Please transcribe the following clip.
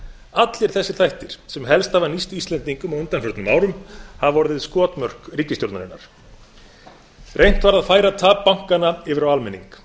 allir þessir þættir sem helst hafa nýst íslendingum á undanförnum árum hafa orðið skotmörk ríkisstjórnarinnar reynt var að færa tap bankanna yfir á almenning